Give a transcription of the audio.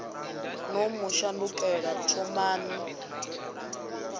no mu shandukela u thomani